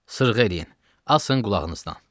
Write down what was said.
Sırğa eləyin, asın qulağınızdan.